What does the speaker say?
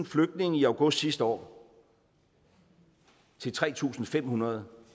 flygtninge i august sidste år til tre tusind fem hundrede